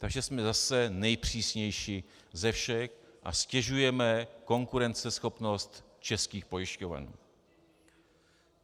Takže jsme zase nejpřísnější ze všech a ztěžujeme konkurenceschopnost českých pojišťoven.